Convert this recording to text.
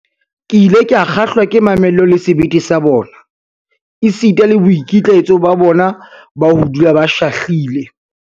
Ke ile ka kgahlwa ke mamello le sebete sa bona, esita le boikitlaetso ba bona ba ho dula ba shahlile.